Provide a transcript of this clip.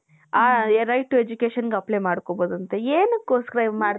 ಹ right to education apply ಮಾಡ್ಕೊಲ್ಲ್ಬೌದು ಅಂತೆ ಎನ್ನಿಕ್ ಓಸ್ಕರ .